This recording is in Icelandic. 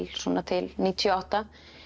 svona til níutíu og átta